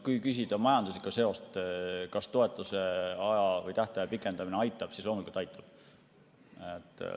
Kui küsida majanduslikku seost, kas toetuse aja või tähtaja pikendamine aitab, siis loomulikult aitab.